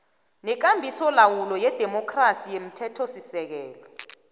nekambisolawulo yedemokhrasi yomthethosisekelo